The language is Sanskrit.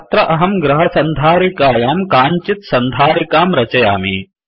अत्र अहं गृहसन्धारिकायां काञ्चित् सन्धारिकां रचयामि